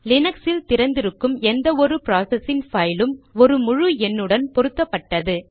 லீனக்ஸில் திறந்திருக்கும் எந்த ஒரு ப்ராசசின் பைலும் ஒரு முழு எண்ணுடன் பொருத்தப்பட்டது